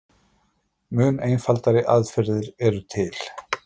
mun einfaldari aðferðir eru til